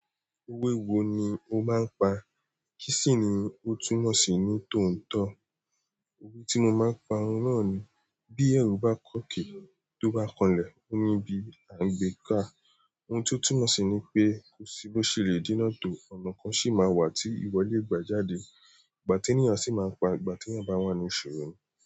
Owé wo ni o máa ń pa? Kí sì ni ó túnmọ̀ sí ní tòótọ́? Owé tí mo máa ń pa òun náà ni bí ẹrú bá kọ́kè, tó bá kanlẹ̀, ó ní ibi à ń gbé ká. Ohun tó túnmọ̀ sí ni pé kosi bó ṣe le díná tó, ọ̀nà kan sì máa wà tí ìwọ lè gbà jáde. Ìgbà tí ènìyàn sì máa ń pa, ìgbà tí ènìyàn bá wà nísòro ni.